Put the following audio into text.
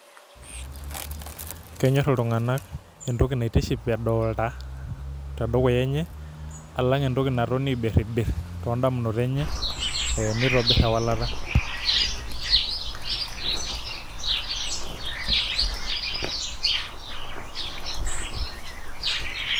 Kenyor ltunganak entoki naitiship edolta tedukuya enye alangentoki natoni aibiribir tondamunot enye peitobir erorwata.